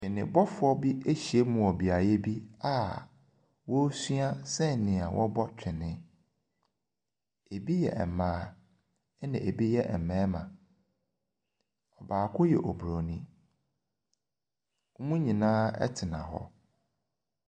Twebɔfoɔ bi ahyiam wɔ beaeɛ bi a wɔresua sɛnea wɔbɔ twene. Ebi yɛ mmaa na ebi yɛ mmarima. Baako yɛ oburoni. Wɔn nyinaa tena hɔ.